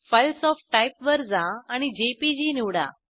files of type वर जा आणि जेपीजी निवडा